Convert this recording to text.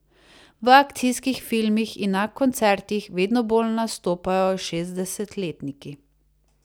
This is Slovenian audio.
V akcijskih filmih in na koncertih vedno bolj nastopajo šestdesetletniki.